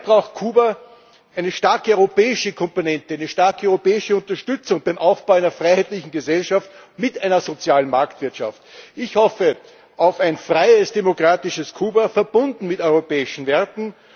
Daher braucht Kuba eine starke europäische Komponente, eine starke europäische Unterstützung beim Aufbau einer freiheitlichen Gesellschaft mit einer sozialen Marktwirtschaft. Ich hoffe auf ein freies, demokratisches Kuba, verbunden mit europäischen Werten.